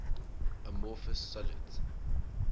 amorphous solids